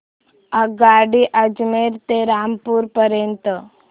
आगगाडी अजमेर ते रामपूर पर्यंत